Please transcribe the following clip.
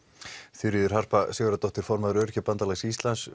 Þuríður Harpa Sigurðardóttir formaður Öryrkjabandalags Íslands